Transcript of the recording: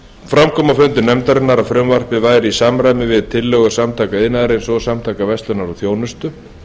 fram kom á fundi nefndarinnar að frumvarpið væri í samræmi við tillögur samtaka iðnaðarins og samtaka verslunar og þjónustu